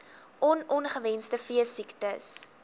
on ongewenste veesiektes